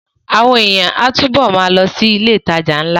Àwọn èèyàn á túbọ̀ ma lọ sí ilé ìtajà ńlá